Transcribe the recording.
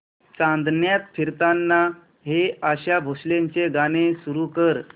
चांदण्यात फिरताना हे आशा भोसलेंचे गाणे सुरू कर